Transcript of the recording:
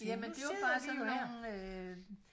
Jamen det jo bare sådan nogen øh